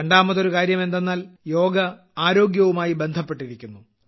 രണ്ടാമതൊരു കാര്യം എന്തെന്നാൽ യോഗ ആരോഗ്യവുമായി ബന്ധപ്പെട്ടിരിക്കുന്നു